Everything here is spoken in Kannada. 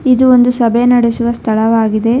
ಇದು ಒಂದು ಸಭೆ ನಡೆಸುವ ಸ್ಥಳವಾಗಿದೆ.